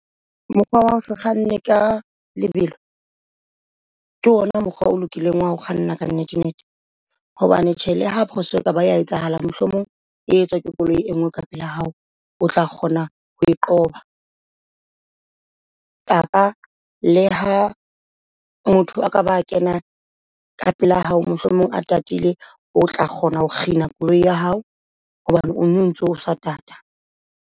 Mokgwa wa hose kganne ka lebelo ke ona mokgwa o lokileng wa ho kganna ka nnete nnete. Hobane tjhe le ha phoso e kaba ta etsahala, mohlomong e etswa ke koloi e ngwe ka pela hao o tla kgona ho qoba. Kapa le ha motho a ka ba kena ka pela hao mohlomong a tatile o tla kgona ho kganna koloi ya hao hobane o no ntso o sa tata.